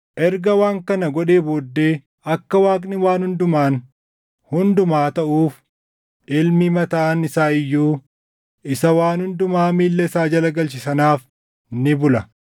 Erga waan kana godhee booddee akka Waaqni waan hundumaan hundumaa taʼuuf Ilmi mataan isaa iyyuu isa waan hundumaa miilla isaa jala galche sanaaf ni bula.